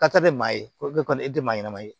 Ka taa bɛ maa ye ko e kɔni e tɛ maa ɲɛnɛma ye